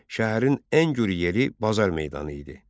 Şəhərin ən güru yeri bazar meydanı idi.